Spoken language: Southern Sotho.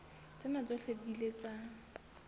tsena tsohle di ile tsa